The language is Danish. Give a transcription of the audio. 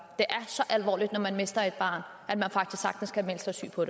er så alvorligt når man mister et barn at man faktisk sagtens kan melde sig syg på